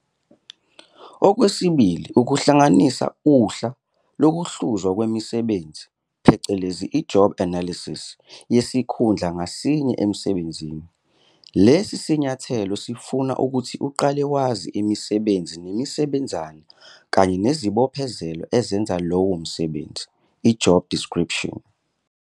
Okwesibili ukuhlanganisa uhla lokuhluzwa kwemisebenzi phecelezi, i-job analysis, yesikhundla ngasinye emsebenzini. Lesi sinyathelo sifuna ukuthi uqale wazi imisebenzi nemisebenzana kanye nezibophezelo ezenza lowo msebenzi, job description.